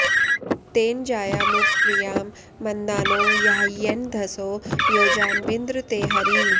तेन॑ जा॒यामुप॑ प्रि॒यां म॑न्दा॒नो या॒ह्यन्ध॑सो॒ योजा॒ न्वि॑न्द्र ते॒ हरी॑